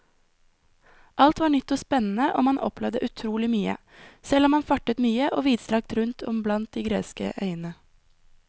Alt var nytt og spennende og man opplevde utrolig mye, selv om man fartet mye og vidstrakt rundt om blant de greske øyene.